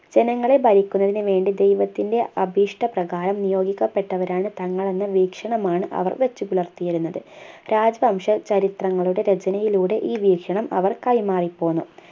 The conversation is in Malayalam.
ജനങ്ങളെ ഭരിക്കുന്നതിനു വേണ്ടി ദൈവത്തിൻ്റെ അഭിഷ്ടപ്രകാരം നിയോഗിക്കപ്പെട്ടവരാണ് തങ്ങൾ എന്ന വീക്ഷണമാണ് അവർ വെച്ച് പുലർത്തിയിരുന്നത് രാജവംശ ചരിത്രങ്ങളുടെ രചനയിലൂടെ ഈ വീക്ഷണം അവർ കൈമാറി പോന്നു